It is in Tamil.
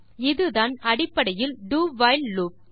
இதுதான் அடிப்படையில் do வைல் லூப்